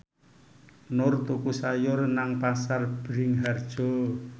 Nur tuku sayur nang Pasar Bringharjo